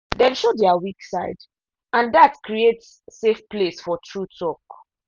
dem show their weak side and dat create safe place for true talk.